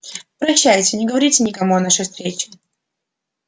прощайте не говорите никому о нашей встрече